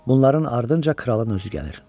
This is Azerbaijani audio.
Bunların ardınca kralın özü gəlir.